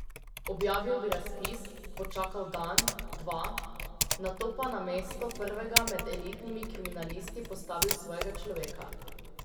Objavil bi razpis, počakal dan, dva, nato pa na mesto prvega med elitnimi kriminalisti postavil svojega človeka.